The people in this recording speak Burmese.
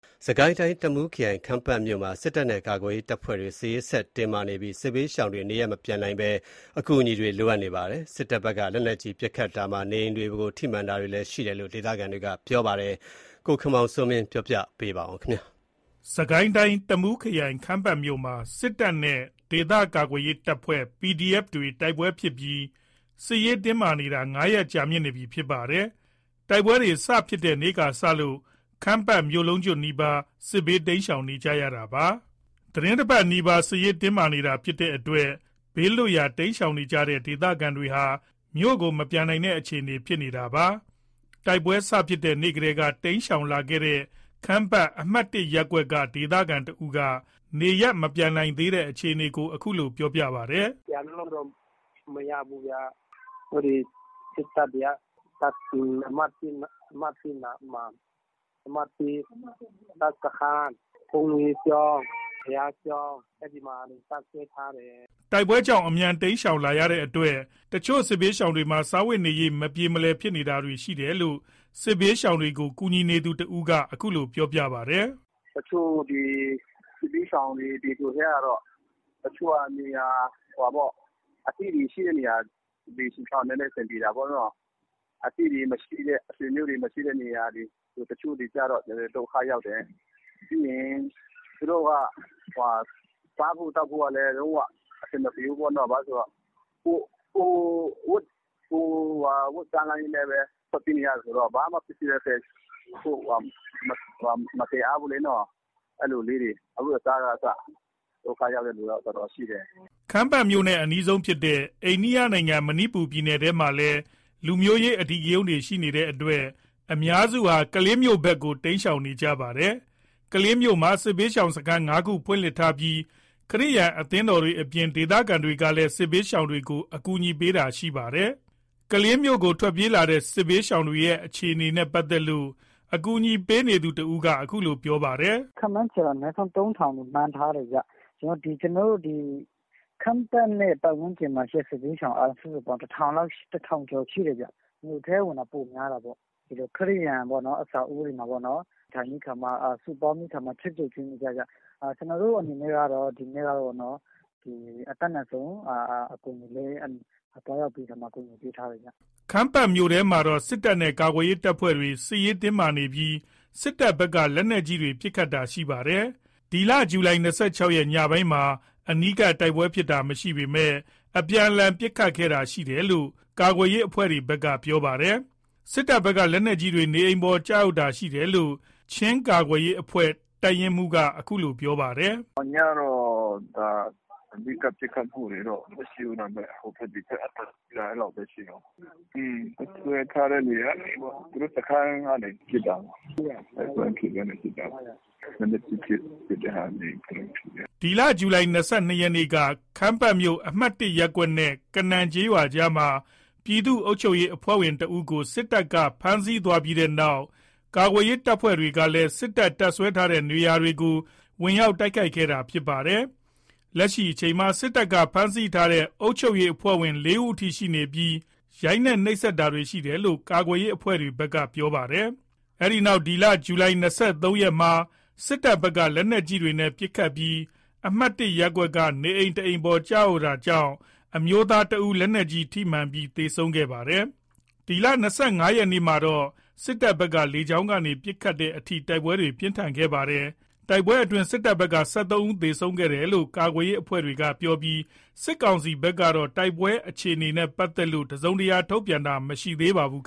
စစ်ကိုင်းတိုင်း တမူးခရိုင် ခမ်းပတ်မြို့မှာ စစ်တပ်နဲ့ ကာကွယ်ရေးတပ်ဖွဲ့တွေ စစ်ရေး ဆက်တင်းမာနေပြီး စစ်ဘေးရှောင်တွေ နေရပ်မပြန်နိုင်တဲ့ အခြေအနေမှာ အကူအညီတွေကလည်း လိုအပ်နေပါတယ်။ စစ်တပ်ဘက်က လက်နက်ကြီး ပစ်ခတ်တာတွေရှိပြီး နေအိမ်တွေအပေါ် ထိမှန်တာတွေလည်း ရှိတယ်လို့ ဒေသခံတွေက ပြောပါတယ်။ ခမ်းပတ်မြို့ရဲ့ နောက်ဆုံး အခြေအနေတွေကို ကိုခင်မောင်စိုးမင်း က တင်ပြပေးပါမယ်။ စစ်ကိုင်းတိုင်း တမူးခရိုင် ခမ်းပတ်မြို့မှာ စစ်တပ်နဲ့ ကာကွယ်ရေး တပ်ဖွဲ့တွေ တိုက်ပွဲတွေ ဖြစ်ပြီး စစ်ရေးတင်းမာနေတာ ၅ ရက် ကြာမြင့်နေပြီ ဖြစ်ပါတယ်။ တိုက်ပွဲတွေ စဖြစ်တဲ့နေ့ကစလို့ ခမ်းပတ်မြို့လုံးကျွတ်နီးပါး စစ်ဘေး တိမ်းရှောင်နေကြရတာပါ။ သီတင်း တပတ်နီးပါး စစ်ရေးတင်းမာနေတာ ဖြစ်တဲ့အတွက် ဘေးလွတ်ရာ တိမ်းရှောင်နေရတဲ့ ဒေသခံတွေဟာ မြို့ကို မပြန်နိုင်တဲ့ အခြေအနေ ဖြစ်နေတာပါ။ တိုက်ပွဲစဖြစ်တဲ့ နေ့ကတည်းက တိမ်းရှောင်လာရတဲ့ ခမ်းပတ် အမှတ် ရပ်ကွက်က ဒေသခံတဦးက နေရပ်မပြန်နိုင်တဲ့ အခြေအနေကို အခုလို ပြောပြပါတယ်။ “ပြန်လို့တော့ မရဘူးခင်ဗျ။ စစ်တပ်တွေက အမှတ် နားမှာ အမှတ် တပ်စခန်း ၊ ဘုန်းကြီးကျောင်း ဘုရားကျောင်း အဲ့ဒီတွေမှာ တပ်စွဲထားတယ်။” တိုက်ပွဲကြောင့် အမြန် တိမ်းရှောင်လာရတဲ့အတွက် အချို့စစ်ဘေးရှောင်တွေမှာ စားဝတ်နေရေး အဆင်မပြေတာတွေလည်း ရှိတယ်လို့ စစ်ဘေးရှောင်တွေကို ကူညီနေသူ တဦးကလည်း အခုလို ပြောပြပါတယ်။ “အချို့စစ်ဘေးရှောင်တွေ ပြည်သူထဲကတော့ အသိတွေရှိတဲ့ နေရာတွေဆို နည်းနည်းအဆင် ပြေတာပေါ့နော်။ အသိတွေမရှိတဲ့ ဆွေမျိုးတွေ မရှိတဲ့ တချို့တွေကြတော့ နည်းနည်းဒုက္ခရောက်တယ်။ ပြီးရင်သူတို့က စာဖို့သောက်ဖို့ကလည်း လုံး၀ အဆင်မပြေဘူးပေါ့နော်။ ဘာလို့ဆိုတော့ ကိုယ်အဝတ်တန်းလန်းနဲ့ပဲ ဘာမှ ပစ္စည်းလည်း မသယ်အားဘူးလေနော်။ အဲ့လိုလေးတွေအဝတ်အစားကအစ ဒုက္ခရောက်တဲ့သူ တော်တော်ရှိတယ်။” ခမ်းပတ်မြို့နဲ့အနီးဆုံးဖြစ်တဲ့ အိန္ဒိယနိုင်ငံ၊ မဏိပူရပြည်နယ်ထဲမှာလည်း လူမျိုးရေး အထိကရုန်းတွေ ရှိနေတဲ့အတွက် အများစုဟာ ကလေးမြို့ ဘက်ကို တိမ်းရှောင်နေရပါတယ်။ ကလေးမြို့မှာ စစ်ဘေးရှောင်စခန်း ၅ ခု ဖွင့်လှစ်ထားပြီး ခရစ်ယာန် အသင်းတော်တွေအပြင် ဒေသခံတွေကလည်း စစ်ဘေးရှောင်တွေကို ကူညီပေးနေတာတွေ ရှိနေပါတယ်။ ကလေးမြို့ကို ထွက်ပြေးလာတဲ့ စစ်ဘေးရှောင်တွေရဲ့ အခြေအနေနဲ့ ပတ်သက်လို့ ကူညီပေးနေသူက အခုလို ပြောပါတယ်။ “ခန့်မှန်းခြေက အနည်းဆုံး ၃ ထောင်လို့ မှန်းထားတယ်ခင်ဗျ။ ခမ်းပတ်နဲ့ ပတ်ဝန်းကျင်မှာတင် စစ်ဘေးရှောင် စုစုပေါင်း ၁ ထောင်ကျော် ရှိတယ်ခင်ဗျ။ မြို့ထဲဝင်တာ ပိုများတာပေါ့။ ခရစ်ယာန် အဆောက်အဦးတွေမှာ နေထိုင်ပြီးကာမှ စုပေါင်းပြီးကာမှ ချက်ပြုတ်ကျွေးမွေးရတယ်။ ကျနော်တို့အနေနဲ့ကတော့ အတတ်နိုင်ဆုံး အကူညီလေးတွေ သွားရောက်ပြီးတော့ ကူညီပေးထားတယ်ခင်ဗျ။” ခမ်းပတ်မြို့ထဲမှာတော့ စစ်တပ်နဲ့ကာကွယ်ရေး တပ်ဖွဲ့တွေ စစ်ရေးတင်းမာနေပြီး စစ်တပ်ဘက်က လက်နက်ကြီးတွေ ပစ်ခတ်တာတွေရှိပါတယ်။ ဇူလိုင် ၂၆ ရက် ညပိုင်းမှာ အနီးကပ် တိုက်ပွဲဖြစ်တာမရှိပေမဲ့ အပြန်အလှန် ပစ်ခတ်တာတွေ ရှိခဲ့တယ်လို့ ကာကွယ်ရေး အဖွဲ့တွေဘက်က ပြောပါတယ်။ စစ်တပ်ဘက်က လက်နက်ကြီးတွေ နေအိမ်တွေပေါ် ကျရောက်တာ ရှိတယ်လို့ ချင်းကာကွယ်ရေးအဖွဲ့ တပ်ရင်းမှူးတဦးက ပြောပါတယ်။ “ညကတော့ အနီးကပ်ပစ်ခတ်မှုတွေတော့ မရှိဘူး။ ဟိုဘက်ဒီဘက် အသံကြား တာလောက်ပဲရှိတယ်။ တပ်စွဲထားတဲ့ နေရာကနေပေါ့။ သူတို့တပ်စွဲထားတဲ့ နေရာကနေပေါ့။ တိုက်ပွဲမဖြစ်ဘဲ ပစ်တာပေါ့။ လက်နက်ကြီးပစ်လို့ ထိတာ နေအိမ် ၁ လုံးထိတယ်။” ဇူလိုင် ၂၂ ရက်က ခမ်းပတ်မြို့ အမှတ် ရပ်ကွက်နဲ့ ကနန်ကျေးရွာကြားမှာ ပြည်သူ့အုပ်ချုပ်ရေး အဖွဲ့ဝင် ၁ ဦးကို စစ်တပ်က ဖမ်းဆီး သွားပြီးတဲ့နောက် ကာကွယ်ရေးအဖွဲ့တွေက စစ်တပ် တပ်စွဲထားတဲ့ နေရာတွေကို ဝင်ရောက် တိုက်ခိုက်ခဲ့တာလည်း ဖြစ်ပါတယ်။ လက်ရှိအချိန်မှာ စစ်တပ်က ဖမ်းဆီးထားတဲ့ အုပ်ချုပ်ရေး အဖွဲ့ဝင် ၄ ဦးအထိ ရှိနေပြီး ရိုက်နှက် နှိပ်စက်တာတွေရှိတယ်လို့ ကာကွယ်ရေး အဖွဲ့တွေက ပြောပါတယ်။ အဲ့ဒီနောက် ဇူလိုင် ၂၃ ရက်မှာ စစ်တပ်ဘက်က လက်နက်ကြီးတွေနဲ့ ပစ်ခတ်ပြီး အမှတ် ရပ်ကွက်က နေအိမ် တအိမ်ပေါ် ကျရောက်တာကြောင့် အမျိုးသား ၁ ဦး လက်နက်ကြီးအစထိမှန်ပြီး သေဆုံးခဲ့ပါတယ်။ ဇူလိုင် ၂၅ ရက်မှာ စစ်တပ်ဘက်က လေကြောင်းကနေ ပစ်ခတ်ရတဲ့အထိ တိုက်ပွဲတွေ ပြင်းထန်ခဲ့ပါတယ်။ တိုက်ပွဲအတွင်း စစ်တပ်ဘက်က ၁၃ ဦး သေဆုံးခဲ့တယ်လို့ ကာကွယ်ရေး အဖွဲ့တွေက ပြောပြီး စစ်ကောင်စီဘက်ကတော့ တိုက်ပွဲအခြေအနေနဲ့ ပတ်သက်လို့ တစုံတရာ ထုတ်ပြန်တာ မရှိပါဘူး။